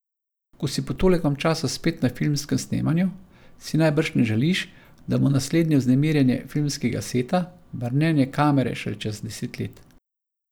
Ko si po tolikem času spet na filmskem snemanju, si najbrž ne želiš, da bo naslednje vznemirjenje filmskega seta, brnenje kamere šele čez deset let?